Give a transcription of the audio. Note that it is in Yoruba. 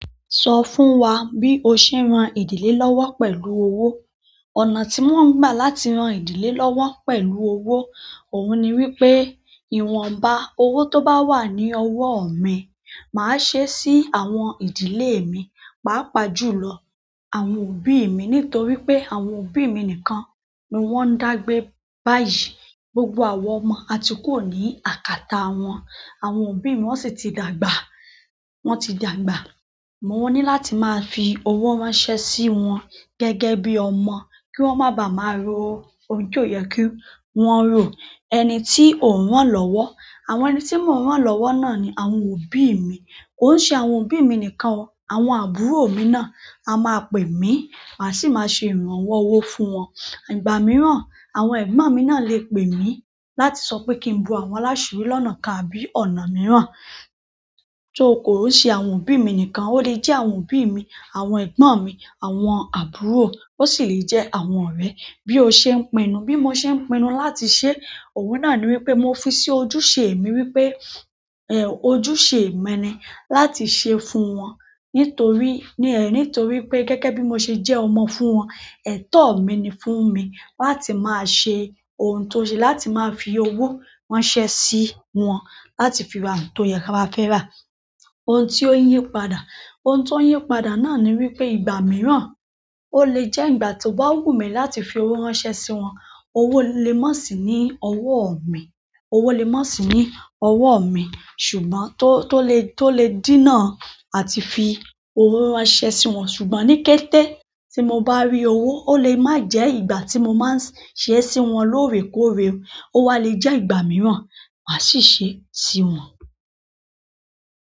Sọ fún wa bí o ṣe ń ran ìdílé lọ́wọ́ pẹ̀lú owó. Ọ̀nà tí mò ń gbà láti ran ìdílé lọ́wọ́ pẹ̀lú owó, òun ni wípé ìwọ̀nba owó tó bá wà ní ọwọ́ mi, màá ṣe sí àwọn ìdílé mi, pàápàá jùlọ àwọn òbí mi nítorí pé àwọn òbí mi nìkan ni wọ́n ń dá gbé báyìí. Gbogbo àwa ọmọ a ti kúrò ní àkàtà wọn. Àwọn òbí mi wọ́n sì ti dàgbà, wọn ti dàgbà. Mo ní láti máa fi owó ránṣẹ́ sí wọn gẹ́gẹ́ bí ọmọ kí wọ́n má bàa máa ro ohun ti o yẹ kí wọ́n rò. Ẹni tí ò ń rán lọ́wọ́, àwọn ẹni tí mò ń rán lọ́wọ́ náà ni àwọn òbí mi. Kò n ṣàwọn òbí mi nìkan, àwọn àbúrò mi náà a máa pè mí, màá sì máa ṣe ìrànwọ́ owó fún wọn. Ìgbà mìíràn, àwọn ẹ̀gbọ́n mi náà lè pè mí láti sọ pé kí n bo àwọn láṣiri lọ́nà kan àbí ọ̀nà mìíràn. Tó kò ṣe àwọn òbí mi nìkan, ó lè jẹ́ àwọn òbí mi, àwọn ẹ̀gbọ́n mi, àwọn àbúrò, ó sì lè jẹ́ àwọn ọ̀rẹ́ bí ó ṣe ń pinnu. Bi mo se n pinu láti se e oun náà ni wípé mo fi si ojúṣe mi wípé ehn ojúṣe mi ni láti se e fún won nítorí ni eh, nítorí pe gẹ́gẹ́ bi mo se je ọmọ fún won ètò mi ni fún mi láti maa se ohun tó ṣe, láti máa fi owó ránṣẹ́ sí wọn láti fi ra ohun tó yẹ wọ́n ba fẹ́ rà. Ohun tí ó ń yí padà, ohun tó ń yí padà náà ni wípé ìgbà mìíràn, ó lè jẹ́ ìgbà tó bá wù mí láti fi owó ránṣẹ́ sí wọn. Owó lè má sì ní ọwọ́ mi, owó lè má sì ní ọwọ́ mi ṣùgbọ́n to tó lè, tó lè dínà àti fi owó ránṣẹ́ sí wọn ṣùgbọ́n ní kété tí mo bá rí owó, ó lè má jẹ́ ìgbà tí mo máa ń s ṣe e sí wọn lóòrèkóòrè. Ó wa lè jẹ́ ìgbà mìíràn, màá sì ṣe e sí wọn.